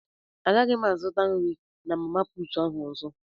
Agaghị m azụta nri na mama puutụ ahụ ọzọ.